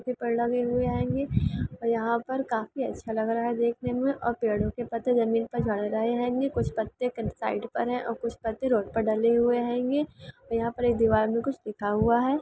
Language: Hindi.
पीपड़ लगे हुए हेंगे और यहां पर काफी अच्छा लग रहा है देखने मे और पेड़ों के पत्ते जमीन पर झड़ रहे हेंगे कुछ पत्ते फ्रंट साइड पर है और कुछ पत्ते रोड पर डले हुए हेंगे और यहां पे दीवार मे कुछ लिखा हुआ हैं।